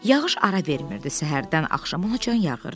Yağış ara vermirdi, səhərdən axşamacan yağırdı.